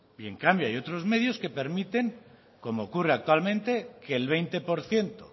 en cambio hay otros medios que permiten como ocurre actualmente que el veinte por ciento